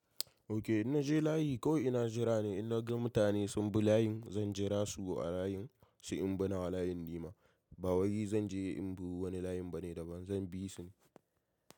Ok, ina je layi kawai ina jira ne? In na ga mutane sun bi layin zan jira su a layin se in bi na wa layin ni ma. Ba wai zan je in bi wani layin bane da ban zan bisu ne.